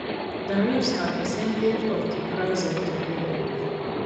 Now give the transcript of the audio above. tariffs na percentage of di price of di product